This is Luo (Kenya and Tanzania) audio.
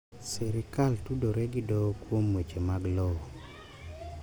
Sirkal tudore gi doho kuom weche mag lowo.